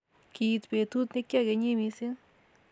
Kiit betut nekiakenyi mising